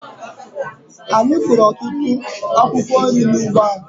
Anyị kụrụ otutụ akwụkwo nri n'ugbo anyị.